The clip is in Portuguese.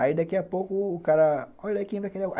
Aí daqui a pouco o cara, olha aí quem vai querer.